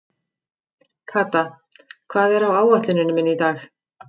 Kata, hvað er á áætluninni minni í dag?